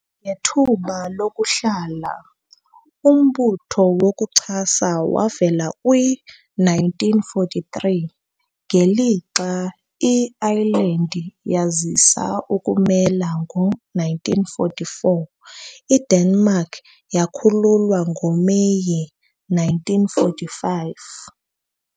Ngethuba lokuhlala, umbutho wokuchasa wavela kwi-1943 ngelixa i-Iceland yazisa ukuzimela ngo-1944, IDenmark yakhululwa ngoMeyi 1945.